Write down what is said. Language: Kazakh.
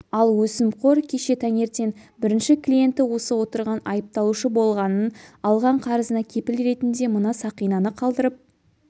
ал өсімқор кеше таңертең бірінші клиенті осы отырған айыпталушы болғанын алған қарызына кепіл ретінде мына сақинаны қалдырып